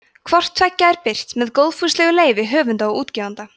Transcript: hvort tveggja er birt með góðfúslegu leyfi höfunda og útgefanda